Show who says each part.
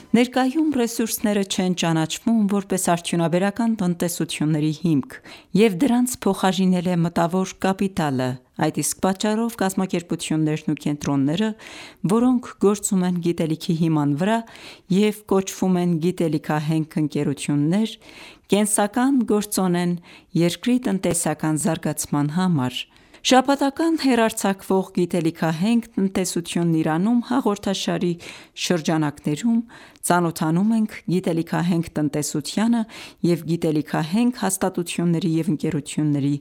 Speaker 1: Ներկայում «ռեսուրսները» չեն ճանաչվում ,որպես արդյունաբերական տնտեսությունների հիմք, և դրանց փոխարինել է մտավոր կապիտալը։ Այդ իսկ պատճառով, կազմակերպություններն ու կենտրոնները, որոնք գործում են «գիտելիքի» հիման վրա և կոչվում են գիտելիքահենք ընկերություններ, կենսական գործոն են երկրի տնտեսական զարգացման համար։ Շաբաթական հեռարձակվող «Գիտելիքահենք տնտեսությունն Իրանում» հաղորդաշարի շրջանակներում, ծանոթանում ենք գիտելիքահենք տնտեսությանը և գիտելիքահենք հաստատությունների
Speaker 2: և ընկերությունների